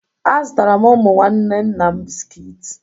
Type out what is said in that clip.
Azụtara m ụmụ nwanne nna m bisiki